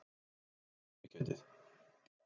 Hvar er skerpikjötið?